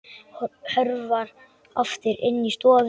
Hörfar aftur inn í stofu.